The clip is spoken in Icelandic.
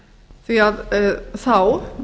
því að þá